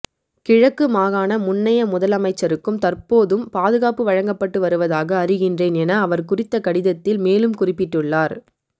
கிழக்கு மாகாண முன்னைய முதலமைச்சருக்கும் தற்போதும் பாதுகாப்பு வழங்கப்பட்டு வருவதாக அறிகின்றேன் என அவர் குறித்த கடிதத்தில் மேலும் குறிப்பிட்டுள்ளார்